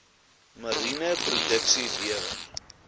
mariene produksie lewer